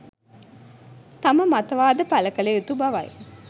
තම මතවාදය පළ කළ යුතු බවයි